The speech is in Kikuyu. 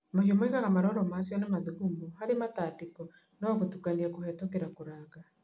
Mahiũ maugaga maroro macio na mathugumo harĩ matandĩko na gũtukania kũhetũkĩra kũranga